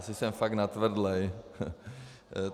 Asi jsem fakt natvrdlej.